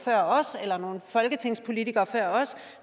og folketingspolitikere før os